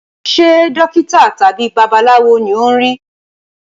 Ṣe dókítà tàbí babaláwo ni o n ri?